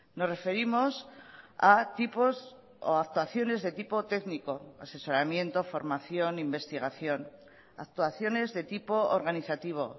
nos referimos a tipos o actuaciones de tipo técnico asesoramiento formación investigación actuaciones de tipo organizativo